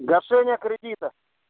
гашение кредита